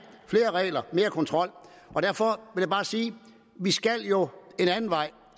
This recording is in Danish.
flere regler mere kontrol og derfor vil jeg bare sige vi skal jo en anden vej